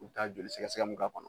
U bɛ taa jolisɛgɛsɛgɛ mun k'a kɔnɔ